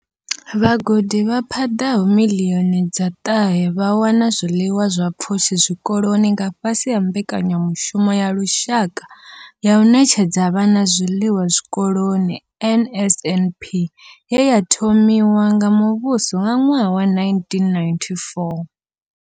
Vhagudi vha paḓaho miḽioni dza ṱahe vha wana zwiḽiwa zwa pfushi zwikoloni nga fhasi ha Mbekanyamushumo ya Lushaka ya u Ṋetshedza Vhana Zwiḽiwa Zwikoloni NSNP ye ya thomiwa nga muvhuso nga ṅwaha wa 1994.